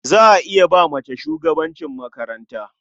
Za a iya ba mace shugabancin makaranta.